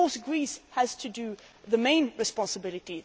Of course, Greece has the main responsibility.